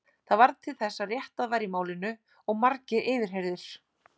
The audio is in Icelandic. Það varð til þess að réttað var í málinu og margir yfirheyrðir.